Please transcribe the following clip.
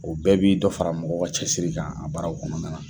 O bɛɛ bi dɔ fara mɔgɔ cɛsiri kan a baraw kɔnɔna na.